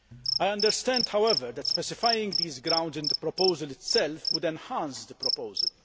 I understand, however, that specifying these grounds in the proposal itself would enhance the proposal.